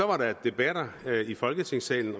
var der debatter i folketingssalen